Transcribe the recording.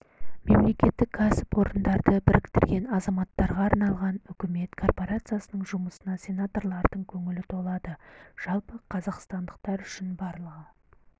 мемлекеттік кәсіпорынды біріктірген азаматтарға арналған үкімет корпорациясының жұмысына сенаторлардың көңілі толады жалпы қазақстандықтар үшін барлығы